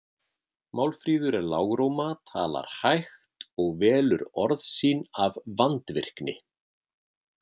Málfríður er lágróma, talar hægt og velur orð sín af vandvirkni.